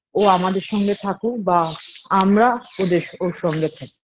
ও আমাদের সঙ্গে থাকুক বা আমরা ওদের ওর সঙ্গে থাকি